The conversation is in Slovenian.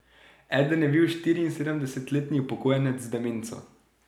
Eden je bil štiriinsedemdesetletni upokojenec z demenco.